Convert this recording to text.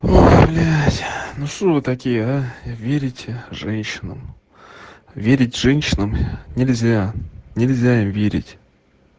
о блядь ну что вы такие а верите женщинам верить женщинам нельзя нельзя им верить